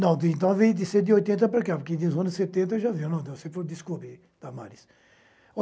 Não, então vem de cento e oitenta para cá, porque dos anos setenta já veio, não deu-se por descobrir, Damaris.